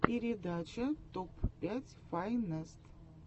передача топ пять файнест